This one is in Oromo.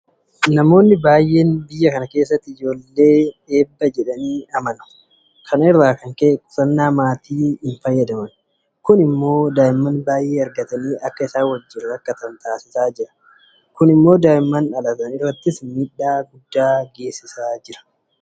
Namoonni baay'een biyya kana keessatti ijoolleen eebba jedhanii amanu. Kana irraa kan ka'e qusannaa maatii hinfayyadaman. Kun immoo daa'ima baay'ee argatanii akka isaan wajjin rakkatan taasisaa jira. Kun immoo daa'imman dhalatan irrattis miidhaa guddaa geessisaa jira.